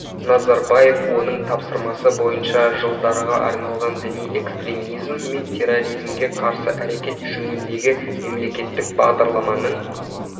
назарбаев оның тапсырмасы бойынша жылдарға арналған діни экстремизм мен терроризмге қарсы әрекет жөніндегі мемлекеттік бағдарламаның